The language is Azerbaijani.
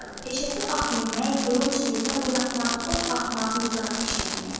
Peşəsi at minmək, qılınc-nizə oynatmaq, ox atmaq, mizraq işlətməkdir.